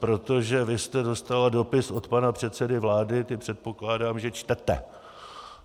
Protože vy jste dostala dopis od pana předsedy vlády, ty předpokládám, že čtete.